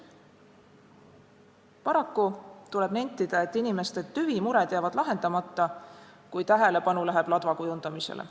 Paraku tuleb nentida, et inimeste tüvimured jäävad lahendamata, kui tähelepanu läheb ladva kujundamisele.